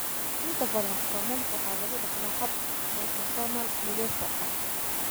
Inta badan foomamka waxaa lagu dhaxlaa hab autosomal dithesa ah.